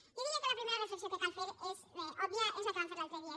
jo diria que la primera reflexió que cal fer és òbvia és la que vam fer l’altre dia